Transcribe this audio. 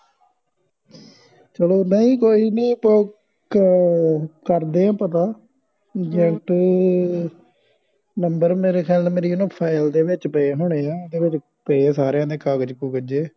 ਚਲੋ ਨਹੀਂ ਕੋਈ ਨਹੀਂ ਆਹ ਕਰ ਦੇ ਆ ਪਤਾ ਏਜੇਂਟ ਨੰਬਰ ਮੇਰੇ ਖਿਆਲ ਨਾਲ ਮੇਰੀ ਫਾਈਲ ਦੇ ਵਿਚ ਪਏ ਹੋਣੇ ਆ ਓਹਦੇ ਵਿਚ ਪਏ ਸਾਰਿਆਂ ਦੇ ਕਾਗਜ ਕੁਗਜ਼ ਜੇ